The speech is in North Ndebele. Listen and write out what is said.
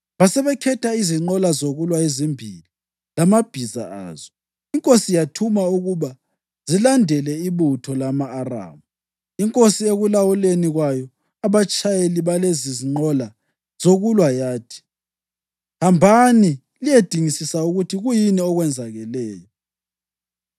Basebekhetha izinqola zokulwa ezimbili lamabhiza azo, inkosi yathuma ukuba zilandele ibutho lama-Aramu. Inkosi ekulawuleni kwayo abatshayeli balezinqola zokulwa yathi, “Hambani liyedingisisa ukuthi kuyini okwenzakeleyo.”